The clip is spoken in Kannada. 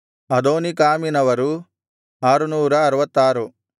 ಅದೋನೀಕಾಮಿನವರು 666